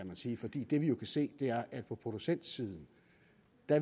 man sige fordi det vi kan se er at vi på producentsiden